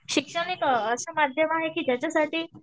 शिक्षण एक असं माध्यम आहे की ज्याच्यासाठी